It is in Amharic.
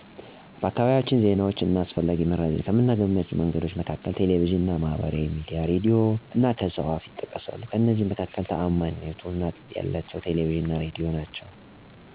በአካባቢያችን ዜናዎችን እና አስፈላጊ መረጃዎችን ከምናገኝባቸው መንገዶች መካከል ቴሌቪዥን፣ ማህበራዊ ሚዲያዎች፣ ሬዲዮ እና ከሰው አፍ ይጠቀሳሉ፤ ከእነዚህ መካከል ታዓማኒነት ያላቸው ቴሌቪዥን እና ሬዲዮ ናቸው። ምክንያቱም በብዛት የሚቀርቡት መረጃዎች ከታማኝ ምንጭ የሚገኙ ስለሆኑ ነው።